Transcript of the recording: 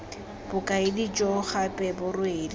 bokaedi jo gape bo rwele